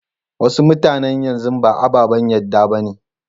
Wasu mutanan yanzu ba ababen yadda ba ne.